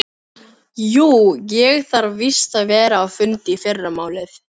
Jú, ég þarf víst að vera á fundi í fyrramálið.